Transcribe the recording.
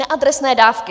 Neadresné dávky.